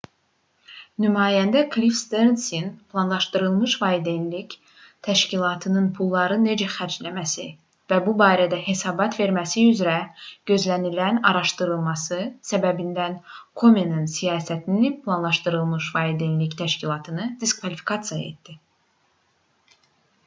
nümayəndə klif sternsin planlaşdırılmış valideynlik təşkilatının pulları necə xərcləməsi və bu barədə hesabat verməsi üzrə gözlənilən araşdırması səbəbindən komenin siyasəti planlaşdırılmış valideynlik təşkilatını diskvalifikasiya etdi